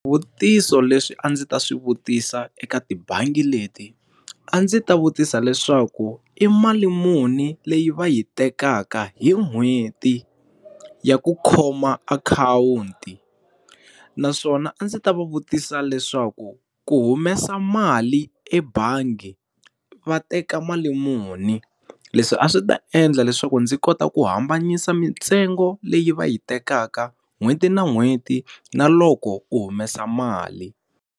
Swivutiso leswi a ndzi ta swi vutisa eka tibangi leti, a ndzi ta vutisa leswaku i mali muni leyi va yi tekaka hi n'hweti ya ku khoma akhawunti naswona a ndzi ta va vutisa leswaku ku humesa mali ebangi va teka mali muni? Leswi a swi ta endla leswaku ndzi kota ku hambanyisa mitsengo leyi va yi tekaka n'hweti na n'hweti, na loko u humesa mali.